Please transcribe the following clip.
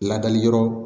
Ladali yɔrɔ